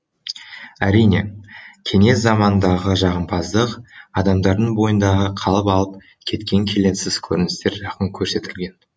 әрине кеңес заманындағы жағымпаздық адамдардың бойындағы қалып алып кеткен келеңсіз көріністер жақын көрсетілген